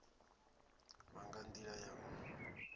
vha nga ndila ya u